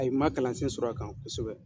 Ayi n man kalansen sɔrɔ a kan kosɛbɛ.